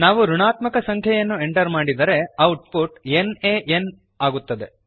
ನಾವು ಋಣಾತ್ಮಕ ಸಂಖ್ಯೆಯನ್ನು ಎಂಟರ್ ಮಾಡಿದರೆ output NaN N A N ಆಗುತ್ತದೆ